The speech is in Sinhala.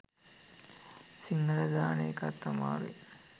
සිංහල දාන එකත් අමාරුයි